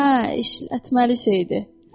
Ə işlətməli şey idi.